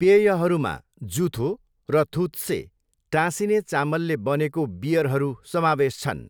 पेयहरूमा जुथो र थुत्से, टाँसिने चामलले बनेको बियरहरू समावेश छन्।